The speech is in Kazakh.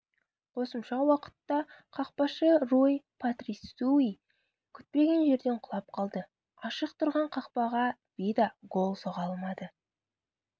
қосымша уақытта қақпашы руй патрисиу күтпеген жерден құлап қалды ашық тұрған қақпаға вида гол соға алмады